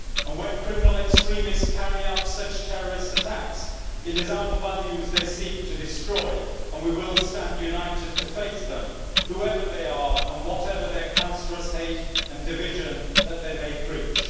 When criminal extremists carry out such terrorist attacks it is our values they seek to destroy, and we will stand united to face them, whoever they are and whatever the cancerous hate and division that they may preach.